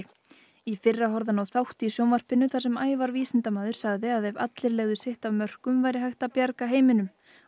í fyrra horfði hann á þátt í sjónvarpinu þar sem Ævar vísindamaður sagði að ef allir legðu sitt af mörkum væri hægt að bjarga heiminum